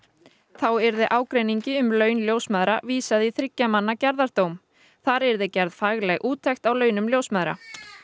þá yrði ágreiningi um laun ljósmæðra vísað í þriggja manna gerðardóm þar yrði gerð fagleg úttekt á launum ljósmæðra